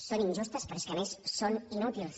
són injustes però és que a més són inútils